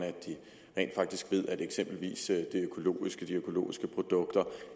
at de faktisk ved at eksempelvis de økologiske produkter